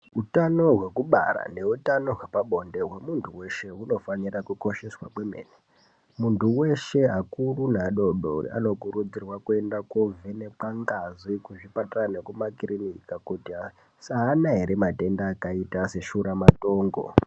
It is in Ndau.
Hutano hwekubara neutano hwepabonde hwemuntu veshe hunofanira kukosheswa kwemene. Muntu veshe akuru neadodori anokurudzirwa kuenda kovhenekwa ngazi kuzvipatara nekumakirinika kuti haana ere matenda akaita seshuramatongo.